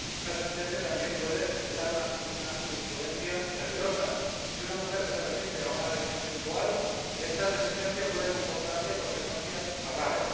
Esta sentencia también puede sentar una jurisprudencia peligrosa si una mujer se resiste a una agresión sexual, esta resistencia puede comportarle consecuencias fatales.